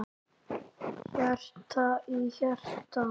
Hjarta í hjarta.